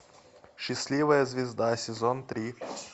счастливая звезда сезон три